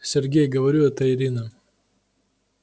сергей говорю это ирина